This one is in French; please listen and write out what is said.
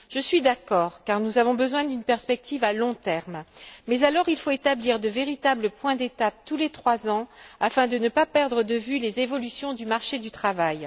Je suis d'accord, car nous avons besoin d'une perspective à long terme, mais alors il faut établir de véritables points d'étape tous les trois ans afin de ne pas perdre de vue les évolutions du marché du travail.